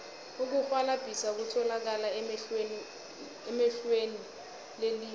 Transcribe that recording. ukurhwalabhisa kutholakala ehlelweni lelimi